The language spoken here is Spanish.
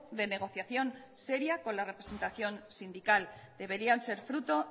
de negociación seria con la representación sindical deberían ser fruto